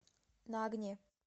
на огне